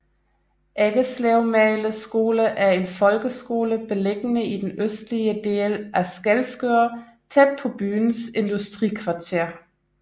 Eggeslevmagle skole er en folkeskole beliggende i den østlige del af Skælskør tæt på byens industrikvarter